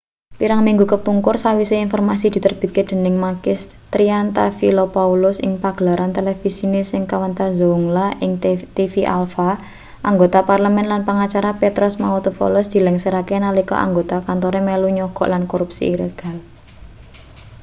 pirang minggu kepungkur sawise informasi diterbitake dening makis triantafylopoulos ing pagelaran televisine sing kawentar zoungla ing tv alpha anggota parlemen lan pengacara petros mantouvalos dilengserake nalika anggota kantore melu nyogok lan korupsi ilegal